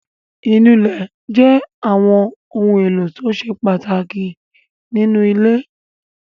Ìnulẹ̀ jẹ́ àwọn ohun-èlò tó ṣe pàtàkì nínú ilé.